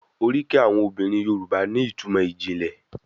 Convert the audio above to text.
Oríkì àwọn obìnrin Yorùbá ní ìtumò ìjìnlẹ̀.